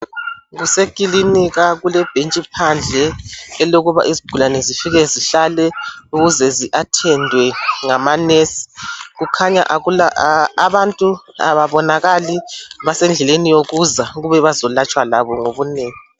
Kusekilinika kulebhentshi phandle elekuba izigulane zifike zihlale ukuzwe zi athendwe ngamanurse kukhanya abantu ababonakali basedleleni yokuza ukuba bazolatshwa labo ngobunengi.